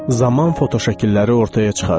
Zaman fotoşəkilləri ortaya çıxarır.